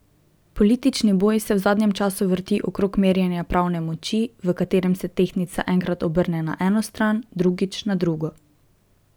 Politični boj se v zadnjem času vrti okrog merjenja pravne moči, v katerem se tehtnica enkrat obrne na eno stran, drugič na drugo.